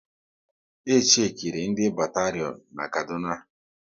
E chechiri ndị batarion na Kaduna